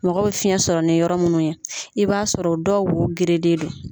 Mɔgɔ bɛ fiyɛn sɔrɔ ni yɔrɔ munnu ye i b'a sɔrɔ o dɔw wo gerelen do.